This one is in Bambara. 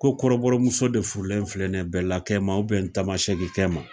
Ko kɔrɔbɔrɔmuso de furulen filɛ ni ye bɛlakɛma tamasɛkukɛ ma